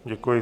Děkuji.